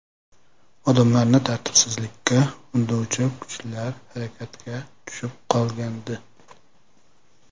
Odamlarni tartibsizlikka undovchi kuchlar harakatga tushib qolgandi.